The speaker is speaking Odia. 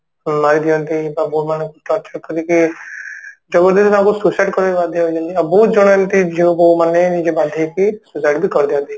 ମାରି ଦିଅନ୍ତି ବା ବୋହୁ ମାନଙ୍କୁ torturer କରିକି ଯୋଉ ତାଙ୍କୁ suicide କରିବାକୁ ବାଧ୍ୟ ହେଇଯାନ୍ତି ଆଉ ବହୁତ ଜଣ ଏମିତି ଝିଅ ପୁଅ ମାନେ ନିଜ ବାନ୍ଧି ହେଇକି suicide ବି କରି ଦିଅନ୍ତି